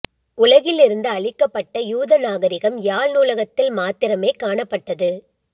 உலகில் இருந்து அழிக்கப்பட்ட யூத நாகரிகம் யாழ் நூலகத்தில் மாத்திரமே காணப்பட்டது